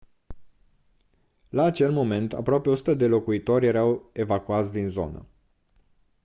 la acel moment aproape 100 de locuitori erau evacuați din zonă